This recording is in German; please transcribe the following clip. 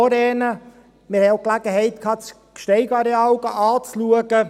Ich habe auch die Möglichkeit gehabt, das Gsteig-Areal anzuschauen.